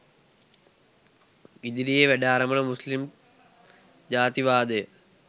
ඉදිරියේ වැඩ අරඹන මුස්ලිම් ජාතිවාදය